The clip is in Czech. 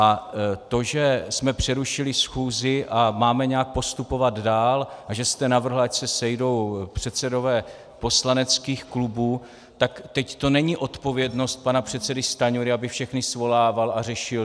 A to, že jsme přerušili schůzi a máme nějak postupovat dál a že jste navrhl, ať se sejdou předsedové poslaneckých klubů, tak teď to není odpovědnost pana předsedy Stanjury, aby všechny svolával a řešil.